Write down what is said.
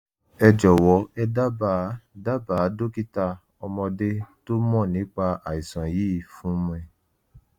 e jowo e daba daba dokita omode to mo nipa aisan yii fun mi